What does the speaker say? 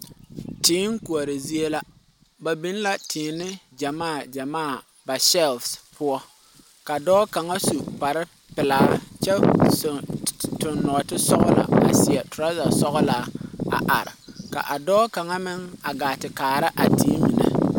Tee koɔre zie la. Ba biŋ la teene gyamaa gyamaa ba sɛls poʊ. Ka dɔɔ kanga su kparo pulaa kyɛ toŋ norte sɔgla a seɛ turasa sɔglaa a are. Ka a dɔɔ kanga meŋ a gaa te kaara a tee mene